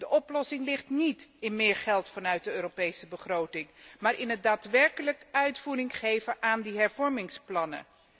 De oplossing ligt niet in meer geld vanuit de Europese begroting, maar in het daadwerkelijk uitvoering geven aan die hervormingsplannen.